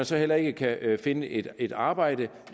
så heller ikke kan finde et et arbejde